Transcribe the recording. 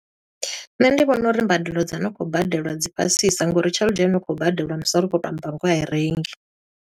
Nṋe ndi vhona uri mbadelo dza no khou badelwa dzi fhasisa ngo uri tshelede ine ya khou badelwa musi ri tshi khou to amba ngoho a i rengi.